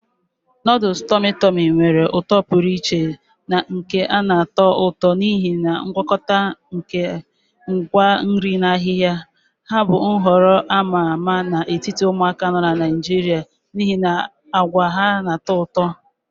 Noodles tummy tummy nwere uto pụrụ iche na nke na-atọ ụtọ n'ihi ngwakọta nke ngwa nri na ahihia. Ha bụ nhọrọ a ma ama n'etiti ụmụaka nọ na Naijiria n'ihi agwa ha na-atọ ụtọ na ụtọ ụtọ na ụtọ.